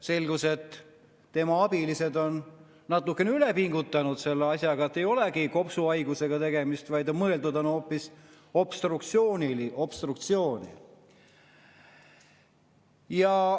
Selgus, et tema abilised on natuke üle pingutanud selle asjaga, sest ei olegi kopsuhaigusega tegemist, vaid on mõeldud hoopis obstruktsioonilist, sõnast "obstruktsioon".